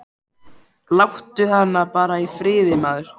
Láttu hana bara í friði, maður.